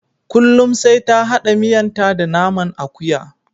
Kullum sai ta hada miyanta da naman akuya.